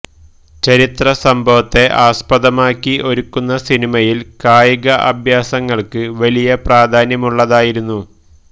ചരിത്ര സംഭവത്തെ ആസ്പദമാക്കി ഒരുക്കുന്ന സിനിമയില് കായിക അഭ്യാസങ്ങള്ക്ക് വലിയ പ്രധാന്യമുള്ളതായിരുന്നു